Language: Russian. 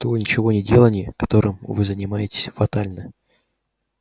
то ничегонеделание которым вы занимаетесь фатально